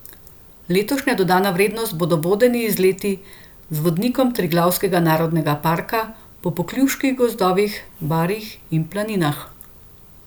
Letošnja dodana vrednost bodo vodeni izleti z vodnikom Triglavskega narodnega parka po pokljuških gozdovih, barjih in planinah.